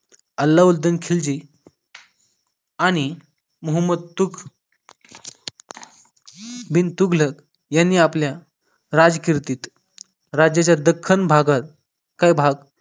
अल्लाउद्दीन खिलजी आणि मोहम्मद मोहम्मद तूख बिन तुगलक यांनी आपल्या राजकीर्तीत राज्याच्या दख्खन भागात क भाग